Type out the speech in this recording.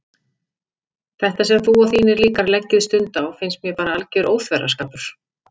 Þetta sem þú og þínir líkar leggið stund á finnst mér bara alger óþverraskapur.